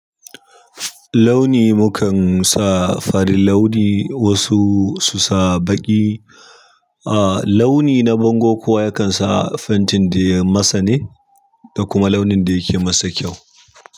Launi mu kan sa farin launi, wasu su sa baƙi. A launi na bango kuwa ya kan sa fentin da ya masa ne, da kuma launin da yake masa kyau.